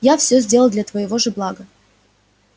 я все сделал для твоего же блага